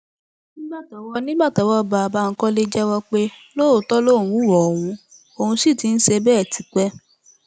nígbà tọwọ nígbà tọwọ bá a bankole jẹwọ pé lóòótọ lòun hùwà ohun òun sì ti ń ṣe bẹẹ tipẹ